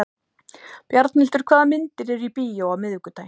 Bjarnhildur, hvaða myndir eru í bíó á miðvikudaginn?